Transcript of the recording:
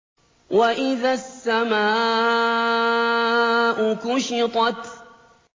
وَإِذَا السَّمَاءُ كُشِطَتْ